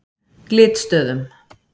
Glitstöðum